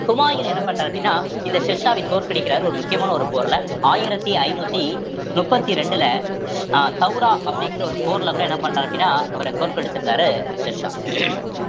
ஹுமாயூன் என்ன பண்றாரு அப்படின்னா இந்த ஷெர்ஷாவை தோற்கடிக்கிறார் ஒரு முக்கியமான ஒரு போர்ல ஆயிரத்தி ஐந்நூத்தி முப்பத்தி ரெண்டுல அஹ் அப்படிங்கிற ஒரு போர்ல கூட என்ன பண்றாரு அப்படின்னா அவரை தோற்கடிச்சிருந்தாரு ஷெர்ஷா